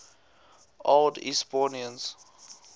old eastbournians